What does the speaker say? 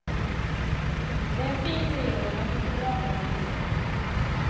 Det är en fin treåring med mycket bra fart i sig.